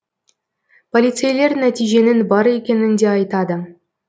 полицейлер нәтиженің бар екенін де айтады